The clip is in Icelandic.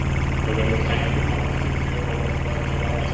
Það verður hægur vandi fyrir þig að fá eitthvað að gera annars staðar.